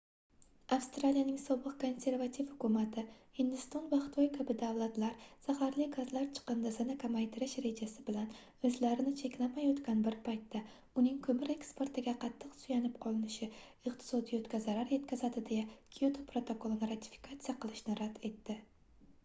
avstraliyaning sobiq konservativ hukumati hindiston va xitoy kabi davlatlar zaharli gazlar chiqindisini kamaytirish rejasi bilan oʻzlarini cheklamayotgan bir paytda uning koʻmir eksportiga qattiq suyanib qolishi iqtisoiyotga zarar yetkazadi deya kyoto protokolini ratifikatsiya qilishni rad etdi